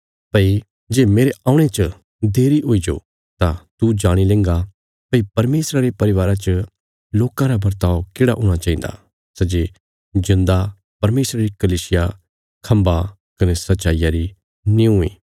भई जे मेरे औणे च देरी हुईजो तां तू जाणी लेंगा भई परमेशरा रे परिवारा च लोकां रा वर्ताव केढ़ा हूणा चाहिन्दा सै जे जिऊंदा परमेशरा री कलीसिया खम्भा कने सच्चाईया री निऊँ इ